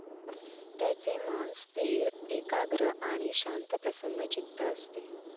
त्याचे मन स्थिर, एकाग्र आणि शांतप्रसन्नचित्त असते.